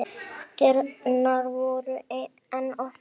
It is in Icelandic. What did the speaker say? Dyrnar voru enn opnar.